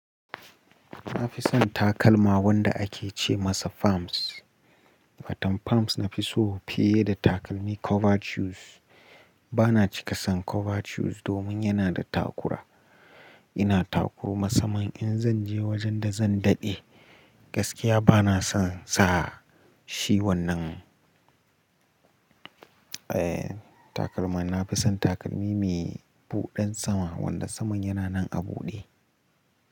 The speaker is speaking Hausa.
Na fi son takalma wanda ake ce masa palms. Fatam palms na fi so fiye da takalmi cover shoes. Ba na cika son cover shoes domin yana da takura. Ina takuru masamman in zan je wajen da zan daɗe. Gaskiya ba na son sa shi wannan, eh takalma. Na fi son takalmi mai buɗan sama wanda saman yana nan a buɗe.